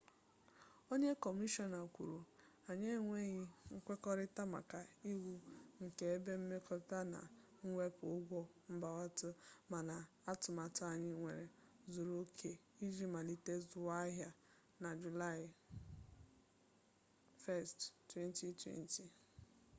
onye kọmishọna kwuru anyị enwebeghị nkwekọrịta maka iwu nke ebe mmepụta na mwepụ ụgwọ mbubata mana atụmatụ anyị nwere zuru oke iji malite zụwa ahịa na julaị 1 2020